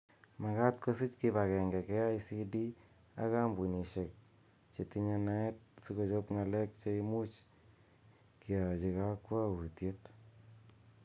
Makat kosich kipangenge KICD ak kambunishek chetinye naet si kochob ng'alek cheimuch keachi kakwoutiet.